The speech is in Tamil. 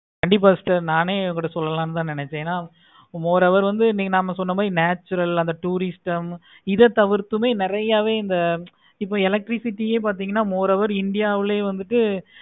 கண்டிப்பா sister சொல்லலாம்னு தான் நினச்சேன். more over வந்து நீங்க நம்ம சொன்ன மாதிரி natural அந்த tourist இத தவிர்த்தும் நெறைய இந்த இப்போ electricity பார்த்தீங்கன்னா moreover india லேயே